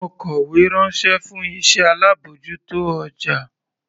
Mo kọ̀wé ránṣẹ́ fún iṣẹ́ alábòjútó ọjà.